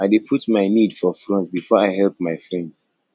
i dey put my need for front before i help me friends